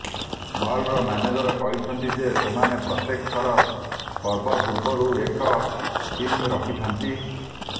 ମଲ୍ର manager କହିଛନ୍ତି ଯେ ସେମାନେ ପ୍ରତ୍ୟେକ ଥର ପର୍ବ ପୂର୍ବରୁ ଏକ ଥିମ୍ ରଖିଥାନ୍ତି